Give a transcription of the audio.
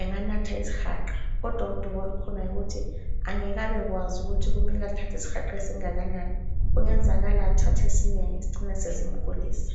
enganatha isihaqa kodwa udubo olukhona yikuthi angeke abekwazi ukuthi kumele athathe isihaqa esingakanani. Kungenzakala athathe esinengi sicine sesimgulisa.